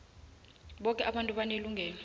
boke abantu banelungelo